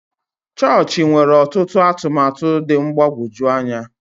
Chọọchị nwere ọtụtụ atụmatụ dị mgbagwoju anya.